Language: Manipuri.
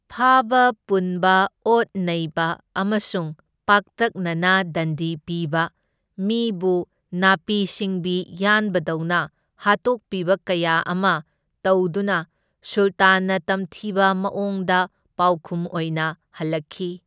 ꯐꯥꯕ ꯄꯨꯟꯕ, ꯑꯣꯠ ꯅꯩꯕ ꯑꯃꯁꯨꯡ ꯄꯥꯛꯇꯛꯅꯅ ꯗꯟꯗꯤ ꯄꯤꯕ, ꯃꯤꯕꯨ ꯅꯥꯄꯤ ꯁꯤꯡꯕꯤ ꯌꯥꯟꯕ ꯗꯧꯅ ꯍꯥꯠꯇꯣꯛꯄꯤꯕ ꯀꯌꯥ ꯑꯃ ꯇꯧꯗꯨꯅ ꯁꯨꯜꯇꯥꯟꯅ ꯇꯝꯊꯤꯕ ꯃꯑꯣꯡꯗ ꯄꯥꯎꯈꯨꯝ ꯑꯣꯏꯅ ꯍꯜꯂꯛꯈꯤ꯫